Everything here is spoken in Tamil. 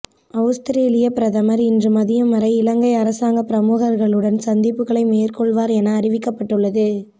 அவுஸ்திரேலிய பிரதமர் இன்று மதியம் வரை இலங்கை அரசாங்க பிரமுகர்களுடன் சந்திப்புகளை மேற்கொள்வார் என அறிவிக்கப்பட்டுள்ளது